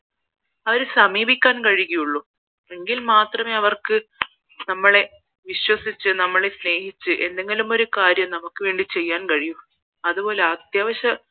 അവരെ സമീപിക്കാൻ കഴിയുകയുള്ളൂ എങ്കിൽ മാത്രമേ അവർക്ക് വിശ്വസിച്ച് നമ്മളെ സ്നേഹിച്ച് എന്തെങ്കിലും ഒരു കാര്യം നമുക്ക് വേണ്ടി ചെയ്യാൻ പറ്റൂ അതുപോലെ അത്യാവശ്യം